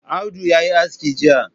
Audu ya yi aski Jiya.